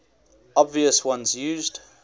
obvious ones used